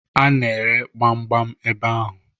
A na-ere gbamgbam ebe ahụ.